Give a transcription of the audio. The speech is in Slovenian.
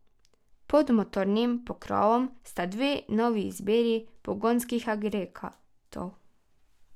Pod motornim pokrovom sta dve novi izbiri pogonskih agregatov.